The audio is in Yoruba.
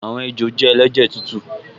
Àwọn ejò jẹ́ ẹlẹ́jẹ̀ tútù